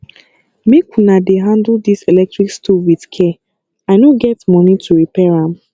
make una dey handle dis electric stove with care i no get money to repair am